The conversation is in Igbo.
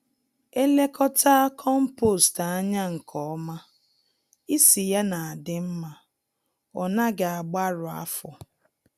Elekọtaa kompost ányá nke ọma, ísì ya n'adị mmá, ọnaghị agbarụ afọ